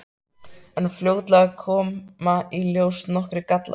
En fljótlega koma í ljós nokkrir gallar.